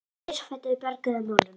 Hún reis á fætur og bjargaði málunum.